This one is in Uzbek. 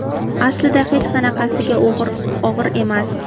Aslida hech qanaqasiga og‘ir emas.